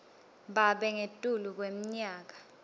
babe ngetulu kweminyaka